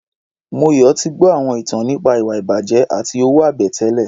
Moyọ̀ ti gbọ́ àwọn ìtàn nípa ìwà-ìbàjẹ́ àti owó-àbẹ̀tẹ́lẹ̀.